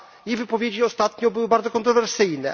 Jej wypowiedzi ostatnio były bardzo kontrowersyjne.